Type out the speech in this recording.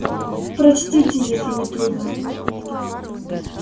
прочтите если не трудно